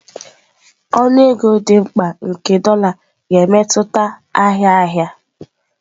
Ọnụ ego dị mkpa nke dolá ga-emetụta ahịa ahịa.